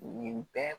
Nin bɛɛ